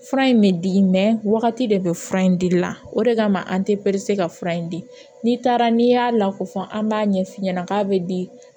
Fura in bɛ di wagati de bɛ fura in di la o de kama an tɛ ka fura in di n'i taara n'i y'a lako fɔ an b'a ɲɛ f'i ɲɛna k'a bɛ di